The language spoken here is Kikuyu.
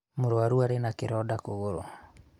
mũrũaru arĩ na kĩronda kũgũrũ